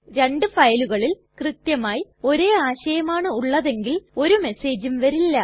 രണ്ടു ഫയലുകളിൽ കൃത്യമായി ഒരേ ആശയമാണ് ഉള്ളതെങ്കിൽ ഒരു മെസ്സേജും വരില്ല